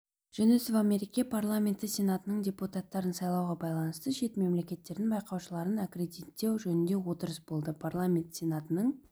жүнісова мереке парламенті сенатының депутаттарын сайлауға байланысты шет мемлекеттердің байқаушыларын аккредиттеу жөнінде отырыс болды парламенті сенатының